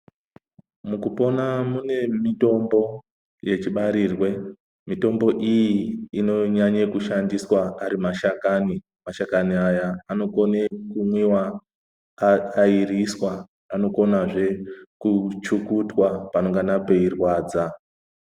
Mukupona mune mitombo yechi barirwe mitombo iyi inonyanye kushandiswa ari mashakani , mashakani aya anokone kumwiwa airiswa anokonazve kuchukutwa panongana peirwadza.